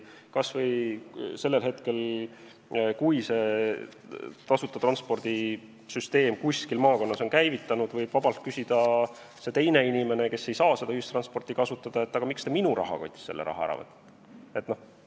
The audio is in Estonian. Sellel hetkel, kui tasuta transpordi süsteem on kuskil maakonnas käivitunud, võib keegi teine, kes parajasti ei saa seda kasutada, vabalt küsida, et aga miks te minu rahakotist selle raha ära võtate.